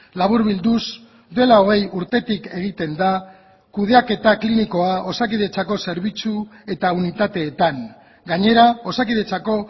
laburbilduz dela hogei urtetik egiten da kudeaketa klinikoa osakidetzako zerbitzu eta unitateetan gainera osakidetzako